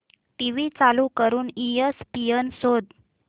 TV चालू करून ESPN शोध